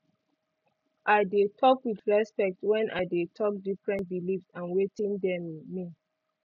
i de talk with respect when i de talk different believes and wetin dem mean